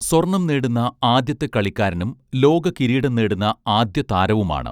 സ്വർണ്ണം നേടുന്ന ആദ്യത്തെ കളിക്കാരനും ലോകകിരീടം നേടുന്ന ആദ്യ താരവുമാണ്